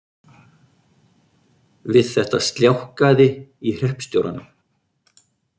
Við þetta sljákkaði í hreppstjóranum